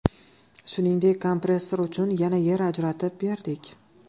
Shuningdek, kompressor uchun yana yer ajratib berdik.